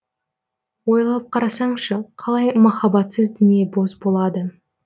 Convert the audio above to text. ойлап қарасаңшы қалай махаббатсыз дүние бос болады